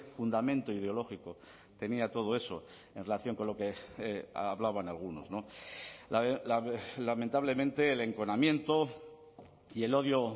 fundamento ideológico tenía todo eso en relación con lo que hablaban algunos lamentablemente el enconamiento y el odio